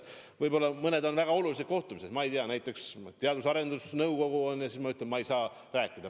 Võib-olla on mõned muud väga olulised kohtumised, ma ei tea, näiteks Teadus- ja Arendusnõukoguga, kuidas ma ütlen, et ma ei saa kohtuda.